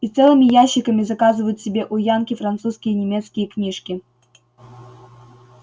и целыми ящиками заказывают себе у янки французские и немецкие книжки